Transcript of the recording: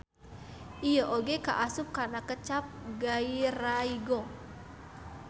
Ieu oge kaasup kana kecap gairaigo.